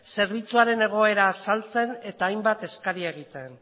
zerbitzuaren egoera azaltzen eta hainbat eskaera egiten